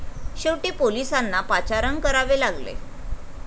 शेवटी पोलिसांना पाचारण करावे लागले.